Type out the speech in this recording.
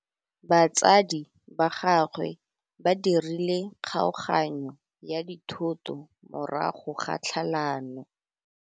Batsadi ba gagwe ba dirile kgaoganyô ya dithoto morago ga tlhalanô.